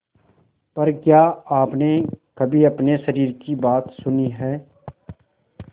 पर क्या आपने कभी अपने शरीर की बात सुनी है